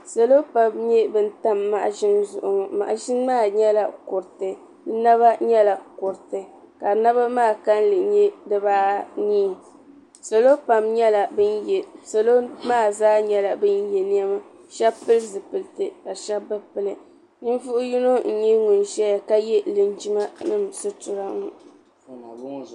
Salo pam nyɛla ban tam maɣazini zuɣu ŋɔ maɣazini maa yɛla kuriti di naba yɛla kuriti ka naba maa kanli yɛ diba anii salo maa zaa nyɛla ban yiɛ nɛma ka pili zupiliti ka sh8bi pili ninvuɣi yino n zaya ka yɛ ŋuni yiɛ lingima nima sutira ŋɔ.